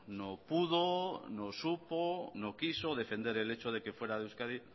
no pudo no supo no quiso defender el hecho de que fuera euskadi